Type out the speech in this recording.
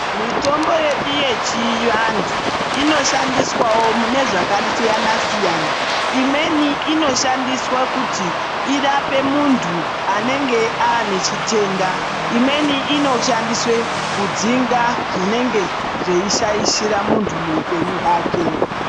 Mitombo yedu yechiantu inoshandiswawo mune zvakasiyana siyana , imweni inoshandiswa kuti irape muntu unenge anechitenda imweni inoshandiswa kudzinga zvinenge zveishaishira muntu muupenyu hwake.